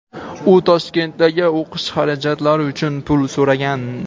U "Toshkentdagi o‘qish xarajatlari " uchun pul so‘ragan.